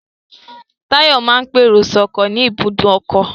Táyọ̀ máa ń pèrò sọ́kọ̀ ní ibùdó ọkọ̀